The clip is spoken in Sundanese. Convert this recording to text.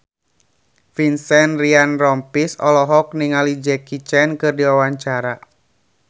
Vincent Ryan Rompies olohok ningali Jackie Chan keur diwawancara